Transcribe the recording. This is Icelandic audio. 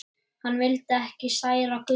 Hann vildi ekki særa Gulla.